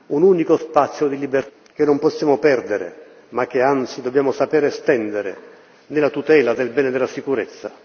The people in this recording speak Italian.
Un unico spazio di libertà europeo, che non possiamo perdere ma che, anzi, dobbiamo saper estendere, nella tutela del bene della sicurezza.